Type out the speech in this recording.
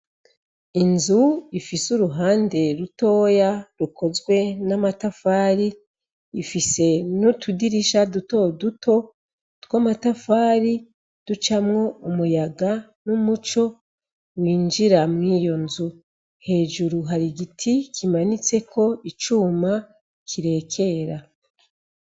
Inzu ifise uruhande rutoya rukozwe n'amatafari ifise n'utudirisha dutoduto tw'amatafari ducamwo umuyaga n'umuco winjira mwiyonzu. Hejuru har'igiti kimanitseko icuma kirekera.